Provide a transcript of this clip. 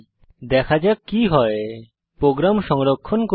দেখা যাক কি হয় প্রোগ্রাম সংরক্ষণ করুন